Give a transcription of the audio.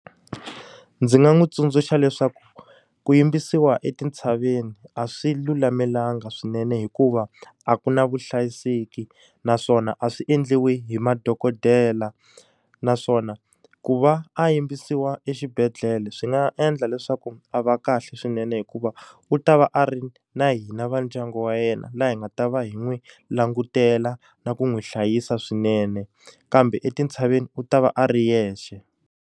Ndzi nga n'wi tsundzuxa leswaku ku yimbisiwa etintshaveni a swi lulamelangi swinene hikuva, a ku na vuhlayiseki naswona a swi endliwa hi madokodela. Naswona ku va a yimbisiwa exibedhlele swi nga endla leswaku a va kahle swinene hikuva, u ta va a ri na hina va ndyangu wa yena laha hi nga ta va hi n'wi langutela na ku n'wi hlayisa swinene. Kambe etintshaveni u ta va a ri yexe.